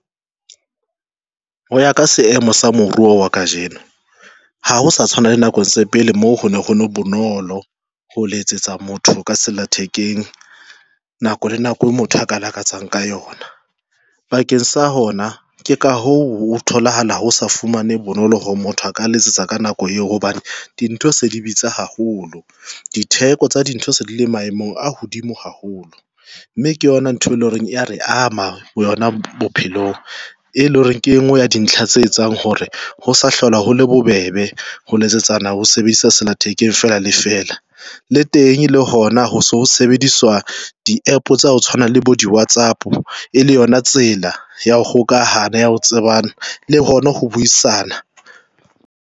Ho ya ka seemo sa moruo wa kajeno, ha ho sa tshwana le nakong tse pele moo ho neng ho le bonolo ho letsetsa motho ka sella thekeng nako le nako e motho a ka lakatsang ka yona bakeng sa hona ke ka ho tholahala ho sa fumane bonolo hore motho a ka letsetsa ka nako eo. Hobane dintho se di bitsa haholo, ditheko tsa dintho se di le maemong a hodimo haholo, mme ke yona ntho e leng horeng ya re ama yona bophelong, e leng hore ke e ngwe ya dintho tse etsang hore ho sa hlola hole bobebe ho letsetsana ho sebedisa sella thekeng fela lefela le teng le hona ho so sebediswa di-APP tsa ho tshwana le bo di WhatsApp e le yona tsela ya ho hokahana ya ho tsebana le hona ho buisana.